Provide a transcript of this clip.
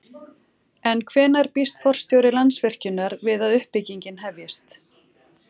En hvenær býst forstjóri Landsvirkjunar við að uppbyggingin hefjist?